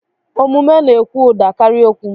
Omume na-ekwu ụda karịa okwu.